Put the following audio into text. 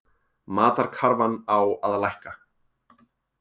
Matarkarfan á að lækka